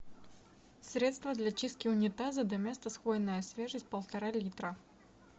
средство для чистки унитаза доместос хвойная свежесть полтора литра